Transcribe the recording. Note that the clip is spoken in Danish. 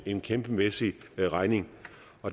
en kæmpemæssig regning